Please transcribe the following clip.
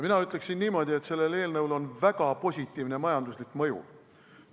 Mina ütleksin niimoodi, et sellel eelnõul on väga positiivne majanduslik mõju.